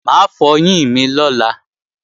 Mà á fọyín mi lọ́la